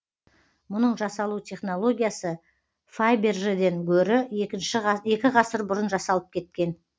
мұның жасалу технологиясы фабержеден гөрі екі ғасыр бұрын жасалып кеткен